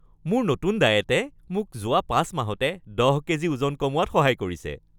মোৰ নতুন ডায়েটে মোক যোৱা ৫ মাহতে ১০ কেজি ওজন কমোৱাত সহায় কৰিছে।